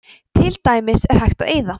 til dæmis er hægt að eyða